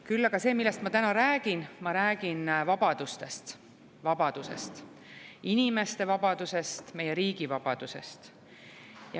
Küll aga räägin ma täna vabadusest: inimeste vabadusest, meie riigi vabadusest.